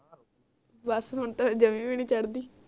ਬਸ ਹੁਣ ਤਾ ਜਮੇ ਵੀ ਨੀ ਚੜ੍ਹਦੀ